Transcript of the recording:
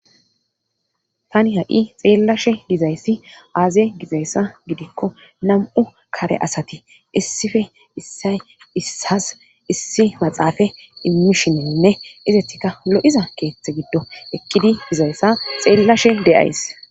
tani ha7i xeellashe gizayssi aaze gixayssa Gidikko nam'u kare asati issife issay issas issi maxaafa immishininne izettika lo'iza keeththe giddo eqqidi dizayssa xeellashe de7ays.